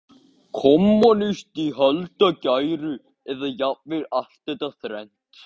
kommúnisti í íhaldsgæru, eða jafnvel allt þetta þrennt.